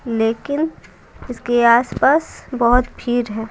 लेकिन इसके आसपास बहुत भिर है।